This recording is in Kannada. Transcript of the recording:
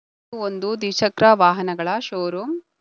ಒಂದು ದ್ವಿಚಕ್ರ ವಾಹನಗಳ ಶೋರೂಂ .